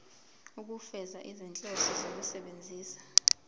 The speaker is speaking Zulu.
ukufeza izinhloso zokusebenzisa